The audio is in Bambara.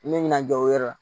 N bɛ ɲina jɔ o yɔrɔ la